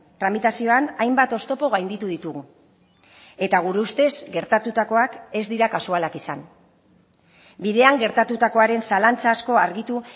tramitazioan hainbat oztopo gainditu ditugu eta gure ustez gertatutakoak ez dira kasualak izan bidean gertatutakoaren zalantza asko argitu